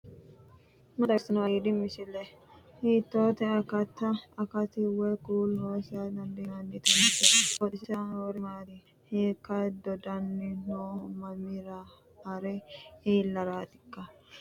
maa xawissanno aliidi misile ? hiitto akati woy kuuli noose yaa dandiinanni tenne misilera? qooxeessisera noori maati ? hiikka dodanni nooho mamira hare iillaraatikka